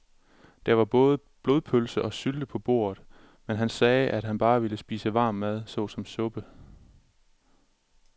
Der var både blodpølse og sylte på bordet, men han sagde, at han bare ville spise varm mad såsom suppe.